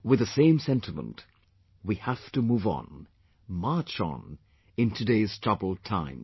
With the same sentiment, we have to move on, march on, in today's troubled times